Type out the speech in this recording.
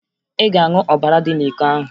Ị ga-aṅụ ọbara dị n'iko ahụ!